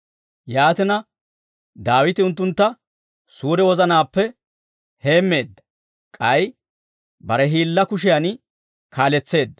Yaatina, Daawite unttuntta suure wozanaappe heemmeedda; k'ay bare hiillaa kushiyan kaaletseedda.